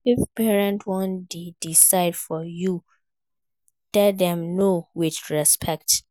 If parents won de decide for you make you tell dem No with respect